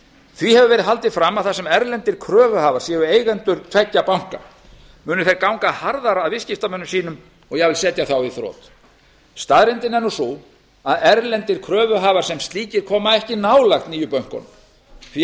því hefur verið haldið fram að þar sem erlendir kröfuhafar séu eigendur tveggja banka muni þeir ganga harðar að viðskiptamönnum sínum og jafnvel setja þá í þrot staðreyndin er sú að erlendir kröfuhafar sem slíkir koma ekki nálægt nýju bönkunum því